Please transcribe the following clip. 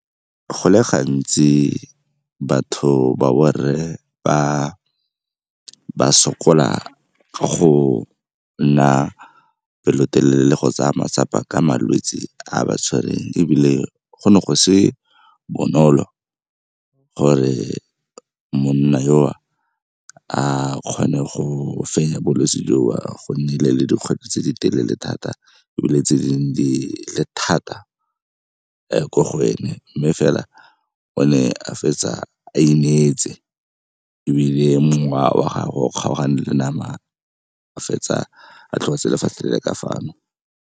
Go le gantsi batho ba borre ba sokola ka go nna pelotelele le go tsaya matsapa ka malwetse a a ba tshwereng ebile go ne go se bonolo gore monna yo a kgone go fenya bolwetse joo. Go nnile le dikgwetlho tse di telele thata ebile tse dingwe di le thata ko go ene, mme fela o ne a fetsa a ineetse ebile mongwe wa gago o kgaogane le nama a fetsa a tlogetse lefatshe le le ka fano.